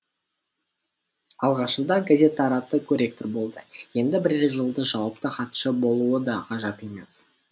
алғашында газет таратты корректор болды енді бірер жылда жауапты хатшы болуы да ғажап емес